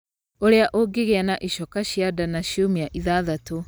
ũrĩa ũngĩgĩa na ĩcoka cia nda na ciumia ithathatũ